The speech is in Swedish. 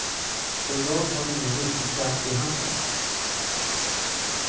Så jag har ingen riktig kraft i handen.